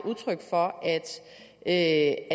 udtryk for at